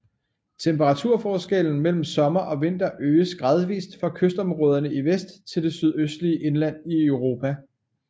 Temperaturforskellen mellem sommer og vinter øger gradvis fra kystområderne i vest til det sydøstlige indland i Europa